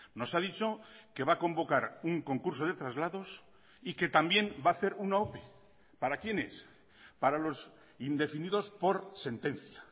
nos ha dicho que va a convocar un concurso de traslados y que también va a hacer una ope para quienes para los indefinidos por sentencia